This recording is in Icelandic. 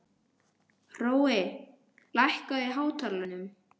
Hrói, lækkaðu í hátalaranum.